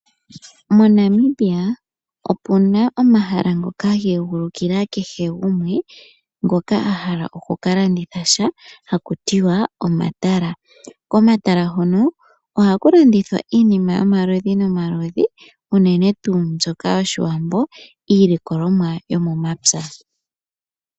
Monamibia opuna omahala ngoka ga egulukila kehe gumwe, ngoka ahala oku kalanditha sha hakutiwa omatala. Komatala hono ohaku landithwa iinima yomaludhi nomaludhi, uunene tuu mbyoka yoshiwambo iilikolomwa yomomapya